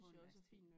På universitetet